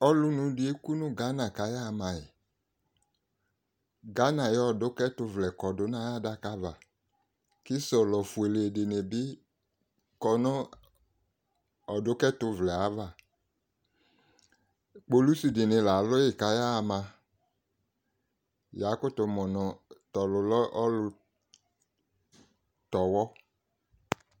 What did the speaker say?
ɔlònu di eku no Ghana k'aya ma yi Ghana ayi ɔdòka ɛto vlɛ kɔ do no ayi adaka ava kò sɔlɔ fuele di ni bi kɔ no ɔdoka ɛto vlɛ ava kpolusi di ni la alò yi k'aya ma ya kutò mo no to ɔlò lɛ ɔlò tɛ ɔwɔ